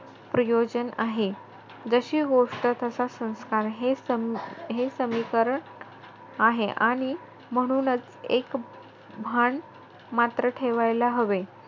प्रयोजन आहे. जशी गोष्ट, तसा संस्कार हे समीकरण आहे . आणि म्हणूनचं एक म्हण मात्र ठेवायला हवे.